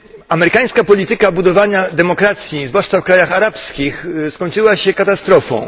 Amerykańska polityka budowania demokracji, zwłaszcza w krajach arabskich, skończyła się katastrofą.